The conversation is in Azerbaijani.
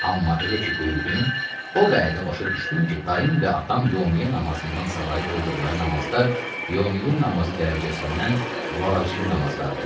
Amma elə ki böyüdüm, o vədə başa düşdüm ki, dayım və atam yovmiyyə namazından savayı qıldıqları namazlar yovmiyyə namazı dərəcəsindən vacibi namazlardır.